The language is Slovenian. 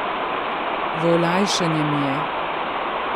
V olajšanje mi je.